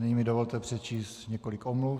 Nyní mi dovolte přečíst několik omluv.